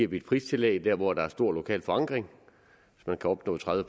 vi et pristillæg der hvor der er stor lokal forankring hvis man kan opnå tredive